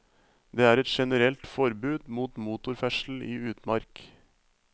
Det er et generelt forbud mot motorferdsel i utmark.